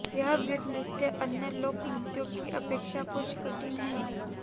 यह वीर नृत्य अन्य लोक नृत्यों की अपेक्षा कुछ कठिन है